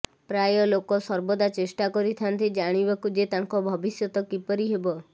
ପ୍ରାୟ ଲୋକ ସର୍ବଦା ଚେଷ୍ଟା କରିଥାନ୍ତି ଜାଣିବାକୁ ଯେ ତାଙ୍କ ଭବିଷ୍ୟତ କିପରି ହେବ